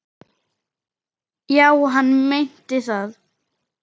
Já, hann meinti það.